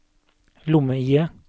lomme-IE